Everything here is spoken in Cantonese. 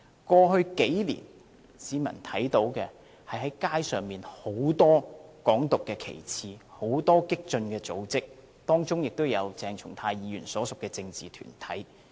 過去數年，市民只看到街上很多"港獨"的旗幟、很多激進組織，當中包括鄭松泰議員所屬的政治團體。